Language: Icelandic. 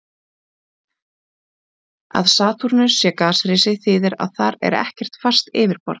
Að Satúrnus sé gasrisi þýðir að þar er ekkert fast yfirborð.